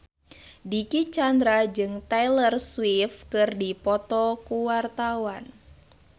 Dicky Chandra jeung Taylor Swift keur dipoto ku wartawan